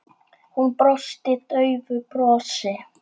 Hún brosti daufu brosi.